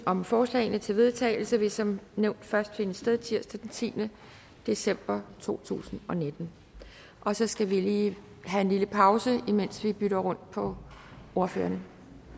om forslagene til vedtagelse vil som nævnt først finde sted tirsdag den tiende december to tusind og nitten og så skal vi lige have en lille pause imens vi bytter rundt på ordførerne